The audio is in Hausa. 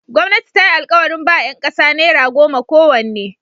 Gwamnati ta yi alkawarin ba ‘yan kasa naira goma kowanne.